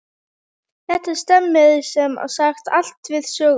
Þetta stemmir sem sagt allt við söguna.